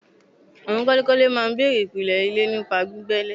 Àwọn kọ́lékọ́lé máa n bèrè ìpìlè ilé nípa gbígbẹ ilè